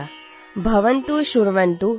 radio unity ninety F